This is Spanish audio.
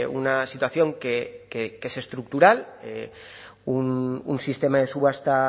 una situación que es estructural un sistema de subasta